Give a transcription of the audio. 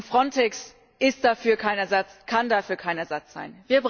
Frontex ist dafür kein Ersatz, kann dafür kein Ersatz sein.